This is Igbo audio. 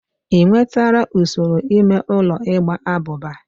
Ị nwetụla usoro ime ụlọ igba abụba?